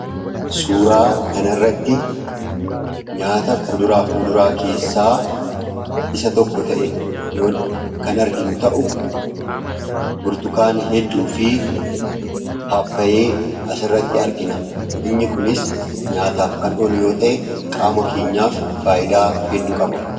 Suuraa kana irratti nyaata kuduraaf muduraa keessaa isa tokko ta'e yoo kan arginu ta'u burtukaan hedduu fi paappayee as irratti argina. Inni kunis nyaataaf kan oolu yoo ta'e qaama keenyaaf faayidaa heddu qaba.